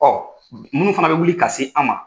munnu fana bɛ wuli ka se an ma